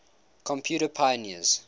computer pioneers